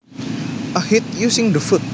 A hit using the foot